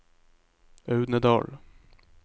Audnedal